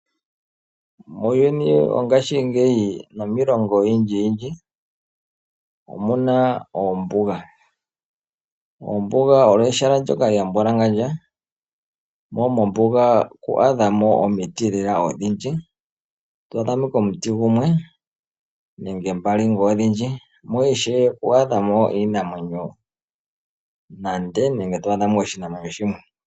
Uuyuni wongashingeyi nomiilongo oyindji yindji omuna oombuga. Oombuga olyo ehala ndyoka lyambwalangandja. Mo mombuga ito adhamo omiti lela odhindji, oto adhamo ashike omiti gumwe nenge mbali ngele odhindji , mo ishewe ito adhamo oshinamwenyo nande nenge to adhamo ashike oshinamwenyo shimwe.